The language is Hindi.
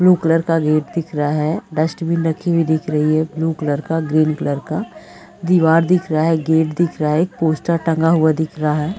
ब्लू कलर का गेट दिख रहा है। डस्टबिन रखी हुई दिख रही है। ब्लू क्लर का ग्रीन कलर का दीवार दिख रहा है। गेट दिख रहा है। एक पोस्टर टंगा हुआ दिख रहा है।